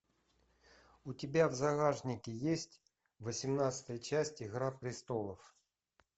у тебя в загашнике есть восемнадцатая часть игра престолов